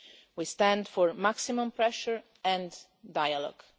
ever. We stand for maximum pressure and dialogue.